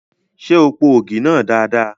Ṣé o po ògì náà dada?